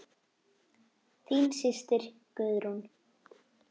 Þín systir, Guðrún.